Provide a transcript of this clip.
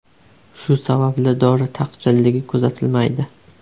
Shu sababli dori taqchilligi kuzatilmaydi.